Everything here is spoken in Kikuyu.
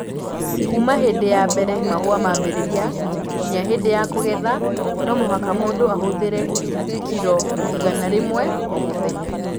Kuuma hĩndĩ ya mbere mahũa mambĩrĩria nginya hĩndĩ ya kũgetha, no mũhaka mũndũ ahũthĩre kiro igana rĩmwe o mũthenya